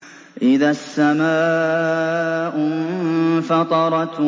إِذَا السَّمَاءُ انفَطَرَتْ